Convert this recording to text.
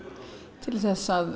til þess að